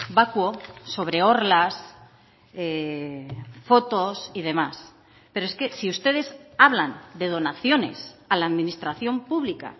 vacuo sobre orlas fotos y demás pero es que si ustedes hablan de donaciones a la administración pública